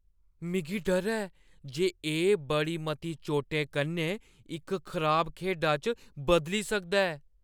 मिगी डर ऐ जे एह् बड़ी मती चोटें कन्नै इक खराब खेढा च बदली सकदा ऐ।